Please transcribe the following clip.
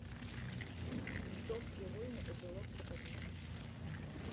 ментовские войны эпилог покажи